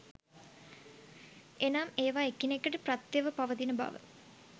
එනම් ඒවා එකිනෙකට ප්‍රත්‍යව පවතින බව